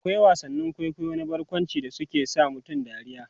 akwai wasannin kwaikwayo na barkwanci da suke sa mutum dariya